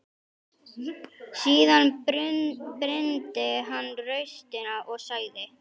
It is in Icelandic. Síðan brýndi hann raustina og sagði: